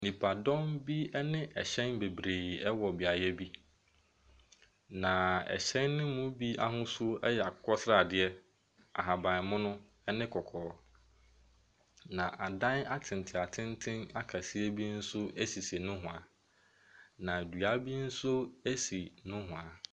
Nnipa bebree na ahyia mu wɔ dwam wɔ ha yi. Na hyɛn bebree nenam nnipa ne mu. Na dan akɛseɛ bebree nso atwa nnipa ne ho ahyia.